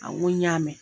Awɔ n ko n y'a mɛn